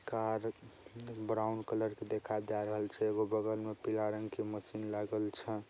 Car brown colour के दिखाई दे रहल छै। है एगो बगल में पीला रंग के मशीन लागल छै।